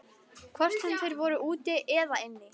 Hvort sem þeir voru úti eða inni.